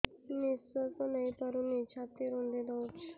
ନିଶ୍ୱାସ ନେଇପାରୁନି ଛାତି ରୁନ୍ଧି ଦଉଛି